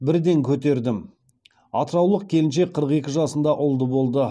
бірден көтердім атыраулық келіншек қырық екі жасында ұлды болды